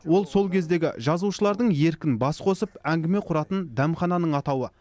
ол сол кездегі жазушылардың еркін бас қосып әңгіме құратын дәмхананың атауы